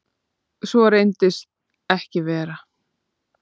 Svo reynist ekki vera.